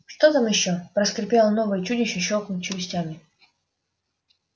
что там ещё проскрипело новое чудище щёлкнув челюстями